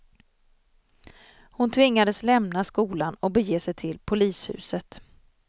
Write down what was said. Hon tvingades lämna skolan och bege sig till polishuset.